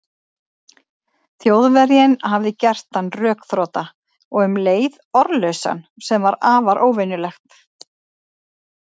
Þjóðverjinn hafði gert hann rökþrota og um leið orðlausan, sem var afar óvenjulegt.